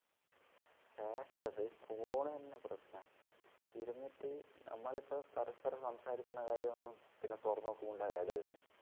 hackers ഒ ഈ phone തന്നെ പ്രശ്നാ ഇരുന്നിട്ട് നമ്മളിപ്പം പരസ്പരം സംസാരിക്കുന്ന കാര്യയൊന്നും പിന്നെ തുറന്നു നോക്കുമ്പോ ദേ ad വരുന്നു